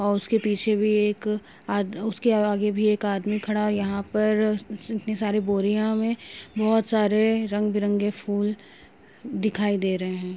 और उसके पीछे भी एक आद उसके आगे भी एक आदमी खड़ा है। यहां पर इतनी सारि बोरियां में बहुत सारे रंग-बिरंगे फूल दिखाई दे रहे हैं।